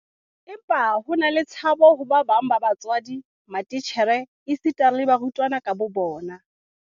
Empa ho na le tshabo ho ba bang ba batswadi, matitjhere esita le barutwana ka bobona.